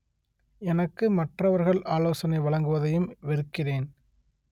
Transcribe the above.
எனக்கு மற்றவர்கள் ஆலோசனை வழங்குவதையும் வெறுக்கிறேன்